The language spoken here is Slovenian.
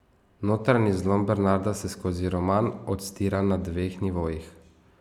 Notranji zlom Bernarda se skozi roman odstira na dveh nivojih.